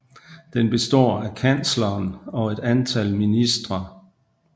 Den består af kansleren og et antal ministre